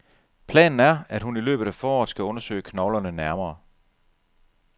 Planen er, at hun i løbet af foråret skal undersøge knoglerne nærmere.